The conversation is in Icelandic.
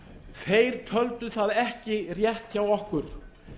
þeir töldu það ekki rétt hjá okkur